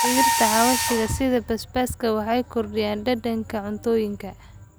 Dhirta xawaashka sida basbaaska waxay kordhiyaan dhadhanka cuntooyinka.